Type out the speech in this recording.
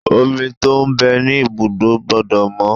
Omi tó ń bẹ ní ibùdó gbọ́dọ̀ mọ́.